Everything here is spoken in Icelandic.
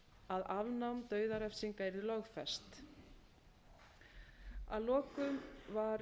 að afnám dauðarefsinga yrði lögfest að lokum var